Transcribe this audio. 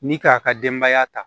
Ni k'a ka denbaya ta